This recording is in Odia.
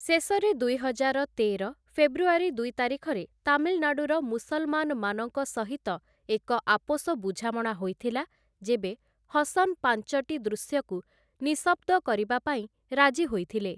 ଶେଷରେ ଦୁଇହଜାର ତେର, ଫେବୃଆରୀ ଦୁଇ ତାରିଖରେ ତାମିଲନାଡ଼ୁର ମୁସଲମାନମାନଙ୍କ ସହିତ ଏକ ଆପୋଷ ବୁଝାମଣା ହୋଇଥିଲା, ଯେବେ ହସନ୍ ପାଞ୍ଚଟି ଦୃଶ୍ୟକୁ ନିଃଶବ୍ଦ କରିବା ପାଇଁ ରାଜି ହୋଇଥିଲେ ।